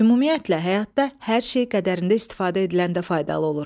Ümumiyyətlə, həyatda hər şey qədərində istifadə ediləndə faydalı olur.